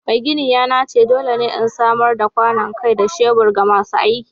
Mai gini ya nace dole ne in samar da kwanon kai da shebur ga masu aikin